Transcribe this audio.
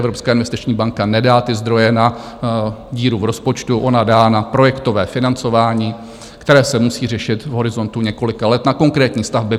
Evropská investiční banka nedá ty zdroje na díru v rozpočtu, ona dá na projektové financování, které se musí řešit v horizontu několika let, na konkrétní stavby.